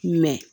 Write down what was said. Mɛ